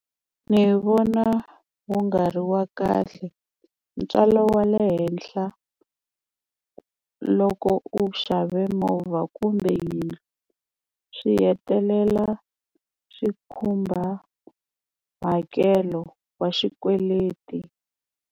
Ni vona wu nga ri wa kahle ntswalo wa le henhla loko u xave movha kumbe yena swi hetelela swi khumba hakelo wa xikweleti.